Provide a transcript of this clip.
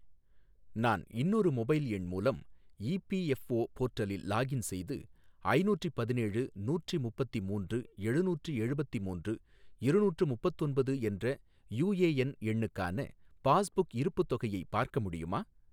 நான் இன்னொரு மொபைல் எண் மூலம் இபிஎஃப்ஓ போர்ட்டலில் லாகின் செய்து ஐநூற்றி பதினேழு நூற்றி முப்பத்தி மூன்று எழுநூற்றி எழுபத்தி மூன்று இருநூற்று முப்பத்தொன்பது என்ற யூஏஎன் எண்ணுக்கான பாஸ்புக் இருப்புத் தொகையை பார்க்க முடியுமா?